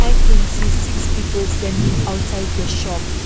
we can see six people standing outside the shop.